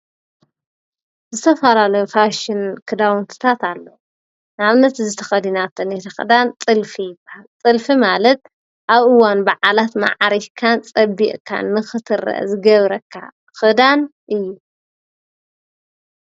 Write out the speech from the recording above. ዝተፈላለይ ፋሽን ክዳውንትታት ኣለዉ ኣብነት ዘተኸዲናተነተ ኽዳን ጥልፊ ጥልፊ ማለጥ ኣብኡዋን ብዓላት መዓሪግካን ጸቢቕካን ምኽትረ ዝገብረካ ኽዳን እዩ::